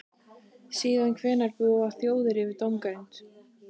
Síðan hvenær búa þjóðir yfir dómgreind?